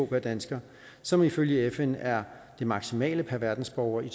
dansker som ifølge fn er det maksimale per verdensborger i